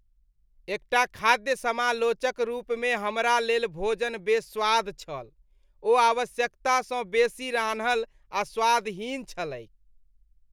एकटा खाद्य समालोचक रूपमे हमरा लेल भोजन बेस्वाद छल। ओ आवश्यकता सँ बेसी रान्हल आ स्वादहीन छलैक ।